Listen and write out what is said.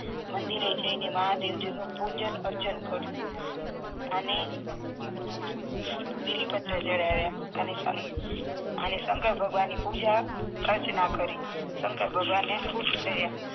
મંદીરે જઈને મહાદેવજી નું પૂજન અર્ચન કર્યું અને બીલીપત્ર ચઢાવ્યા અને શંક અને શંકર ભગવાન ની પુજા અર્ચના કરી શંકર ભગવાન ને ખુશ કર્યા